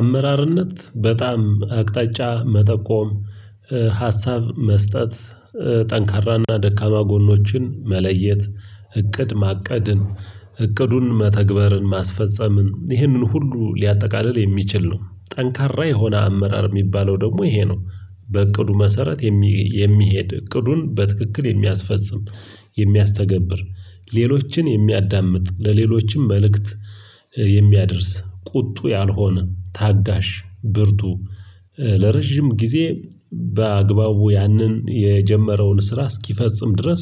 አመራርነት በጣም አቅጣጫ መጠቆም ሀሳብ መስጠት። ጠንካራና ደካማ ጎኖችን መለየት እቅድ ማቀድን እቅዱን መተግበርን ማስፈጸምን ይህንን ሁሉ ሊያጠቃልል የሚችል ነው። ጠንካራ የሆነ አመራር የሚባለው ደግሞ ይሄ ነው። በእቅዱ መሰረት የሚሄድ እቅዱን በትክክል የሚያስፈጽም የሚያስተገብር ሌሎችን የሚያዳምጥ ለሌሎችም መልእክት የሚያደርስ ቁጡ ያልሆነ ታጋሽ ብርቱ ለረጅም ጊዜ በአግባቡ ያንን የጀመረውን ስራ እስኪፈጽም ድረስ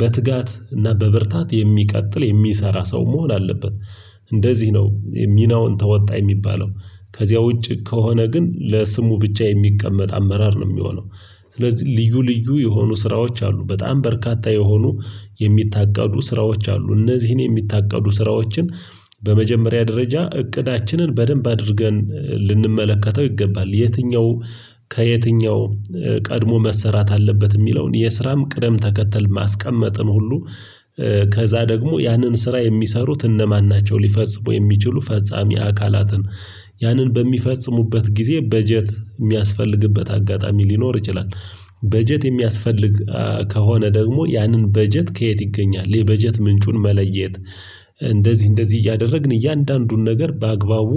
በትጋት እና በብርታት የሚቀጥል የሚሰራ ሰው መሆን አለበት። እንደዚህ ነው ሚናውን ተወጣ የሚባለው ከዚያ ውጪ ከሆነ ግን ለስሙ ብቻ የሚቀመጥ አመራር ነው የሚሆነው። ስለዚህ ልዩ ልዩ የሆኑ ስራዎች አሉ በጣም በርካታ የሆኑ የሚታቀዱ ስራዎች አሉ እነዚህን የሚታቀዱ ስራዎችን። በመጀመሪያ ደረጃ እቅዳችንን በደንብ አድርገን ልንመለከተው ይገባል። የትኛው ከየትኛው ቀድሞ መሰራት አለበት የሚለውን የስራም ቅደም ተከተል ማስቀመጥን ሁሉ። ከዛ ደግሞ ያንን ስራ የሚሰሩት እነማን ናቸው ሊፈጽሙ የሚችሉ ፈጻሚ አካላትን። ያንን በሚፈጽሙበት ጊዜ በጀት የሚያስፈልግበት አጋጣሚ ሊኖር ይችላል። በጀት የሚያስፈልግ ከሆነ ደግሞ ያንን በጀት ከየት ይገኛል የበጀት ምንጩን መለየት። እንደዚህ እንደዚህ እያደረግን እያንዳንዱን ነገር በአግባቡ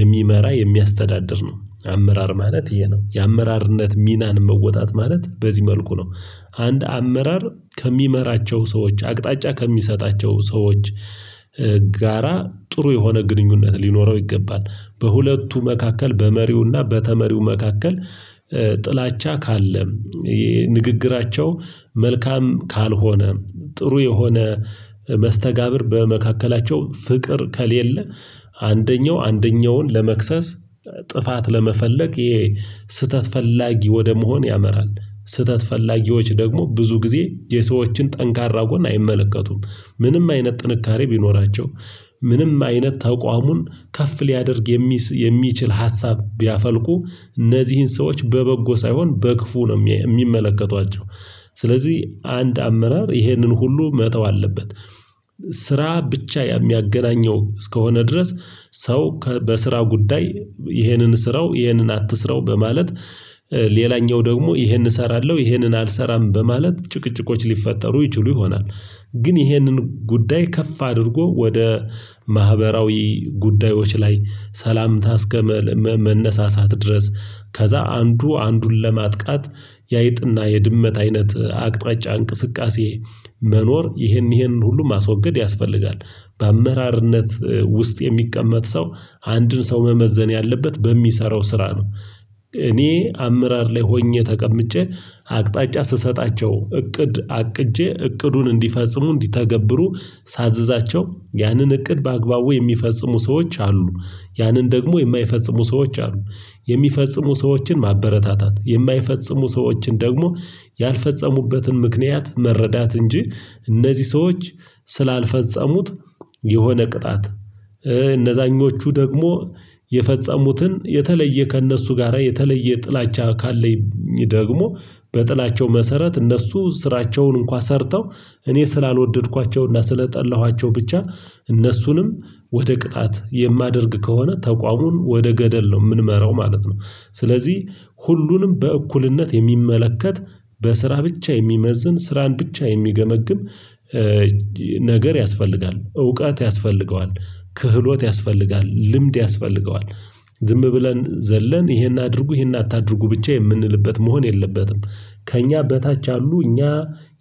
የሚመራ የሚያስተዳድር ነው አመራር ማለት ይህ ነው የአመራርነት ሚናን መወጣት ማለት በዚህ መልኩ ነው። አንድ አመራር ከሚመራቸው ሰዎች አቅጣጫ ከሚሰጣቸው ሰዎች ጋራ ጥሩ የሆነ ግንኙነት ሊኖረው ይገባል። በሁለቱ መካከል በመሪውና በተመሪው መካከል። ጥላቻ ካለ ንግግራቸው መልካም ካልሆነ ጥሩ የሆነ መስተጋብር በመካከላቸው ፍቅር ከሌለ አንደኛው አንደኛውን ለመክሰስ ጥፋት ለመፈለግ ስህተት ፈላጊ ወደ መሆን ያመራል ስህተት ፈላጊዎች ደግሞ ብዙ ጊዜ የሰዎችን ጠንካራ ጎን አይመለከቱም ምንም አይነት ጥንካሬ ቢኖራቸው ምንም አይነት ተቋሙን ከፍ ሊያደርግ የሚችል ሀሳብ ቢያፈልቁ እነዚህን ሰዎች በበጎ ሳይሆን በክፉ ነው የሚመለከቷቸው ስለዚህ አንድ አመራር ይህንን ሁሉ መተው አለበት። ስራ ብቻ የሚያገናኘው እስከሆነ ድረስ ሰው በስራ ጉዳይ ይሄንን ስራው ይሄንን አትስራው በማለት ሌላኛው ደግሞ ይሄንን እሰራለሁ ይሄንን አልሰራም በማለት ጭቅጭቆች ሊፈጠሩ ይችሉ ይሆናል። ግን ይሄንን ጉዳይ ከፍ አድርጎ ወደ ማህበራዊ ጉዳዮች ላይ ሰላምታ እስከመነሳሳት ድረስ ከዛ አንዱ አንዱን ለማጥቃት ያይጥና የድመት አይነት አቅጣጫ እንቅስቃሴ መኖር ይህንን ይህንን ሁሉ ማስወገድ ያስፈልጋል። በአመራርነት ውስጥ የሚቀመጥ ሰው አንድን ሰው መመዘን ያለበት በሚሰራው ስራ ነው። እኔ አመራር ላይ ሆኜ ተቀምጬ አቅጣጫ ስሰጣቸው እቅድ አቅጄ እቅዱን እንዲፈጽሙ እንዲተገብሩ ሳዛቸው ያንን እቅድ በአግባቡ የሚፈጽሙ ሰዎች አሉ። ያንን ደግሞ የማይፈጽሙ ሰዎች አሉ። የሚፈጽሙ ሰዎችን ማበረታታት የማይፈጽሙ ሰዎችን ደግሞ ያልፈጸሙበትን ምክንያት መረዳት እንጂ እነዚህ ሰዎች ስላልፈጸሙት የሆነ ቅጣት እነዛኞቹ ደግሞ የፈጸሙትን የተለየ ከእነሱ ጋራ የተለየ ጥላቻ ካለኝ ደግሞ በጥላቸው መሰረት እነሱ ስራቸውን እንኳን ሰርተው እኔ ስላልወደድኳቸውና ስለጠላኋቸው ብቻ እነሱንም ወደ ቅጣት የማደርግ ከሆነ ተቋሙን ወደ ገደል ነው የምንመራው ማለት ነው። ስለዚህ ሁሉንም በእኩልነት የሚመለከት በስራ ብቻ የሚመዝን ስራን ብቻ የሚገመግም ነገር ያስፈልጋል እውቀት ያስፈልገዋል። ክህሎት ያስፈልጋል ልምድ ያስፈልገዋል። ዝም ብለን ዘለን ይሄን አድርጉ ይሄን አታድርጉ ብቻ የምንልበት መሆን የለበትም። ከእኛ በታች ያሉ እኛ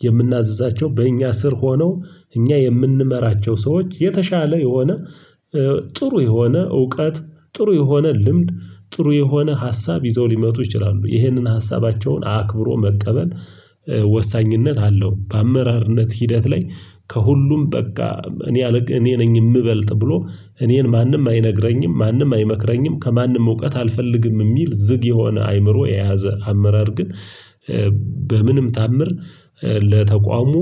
የምናዛቸው በእኛ ስር ሆነው እኛ የምንመራቸው ሰዎች የተሻለ የሆነ ጥሩ የሆነ እውቀት ጥሩ የሆነ ልምድ ጥሩ የሆነ ሀሳብ ይዘው ሊመጡ ይችላሉ ይህንን ሀሳባቸውን አክብሮ መቀበል። ወሳኝነት አለው በአመራርነት ሂደት ላይ ከሁሉም በቃ እኔ ነኝ የምበልጥ ብሎ እኔን ማንም አይነግረኝም ማንም አይመክረኝም ከማንም እውቀት አልፈልግም የሚል ዝግ የሆነ አይምሮ የያዘ አመራር ግን። በምንም ታምር ለተቋሙ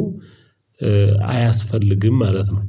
አያስፈልግም ማለት ነው።